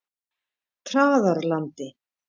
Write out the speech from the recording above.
Traðarlandi